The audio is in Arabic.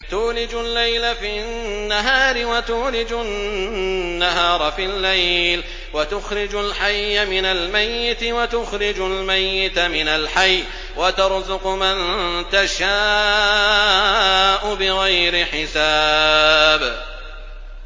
تُولِجُ اللَّيْلَ فِي النَّهَارِ وَتُولِجُ النَّهَارَ فِي اللَّيْلِ ۖ وَتُخْرِجُ الْحَيَّ مِنَ الْمَيِّتِ وَتُخْرِجُ الْمَيِّتَ مِنَ الْحَيِّ ۖ وَتَرْزُقُ مَن تَشَاءُ بِغَيْرِ حِسَابٍ